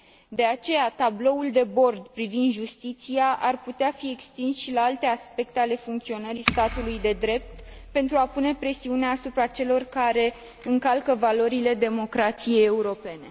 De aceea, tabloul de bord privind justiția ar putea fi extins și la alte aspecte ale funcționării statului de drept pentru a pune presiune asupra celor care încalcă valorile democrației europene.